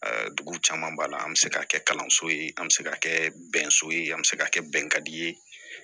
dugu caman b'a la an bɛ se ka kɛ kalanso ye an bɛ se ka kɛ bɛnso ye an bɛ se ka kɛ bɛnkan ye